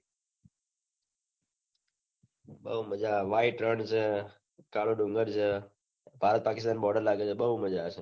બહુ મજા white રણ છે કાળો ડુંગર છે ભારત પકિસ્તાન border લાગે છે બહુ મજા આવે છે